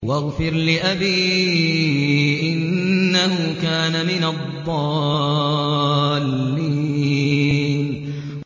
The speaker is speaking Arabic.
وَاغْفِرْ لِأَبِي إِنَّهُ كَانَ مِنَ الضَّالِّينَ